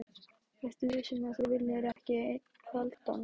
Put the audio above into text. Ertu viss um að þú viljir ekki einn kaldan?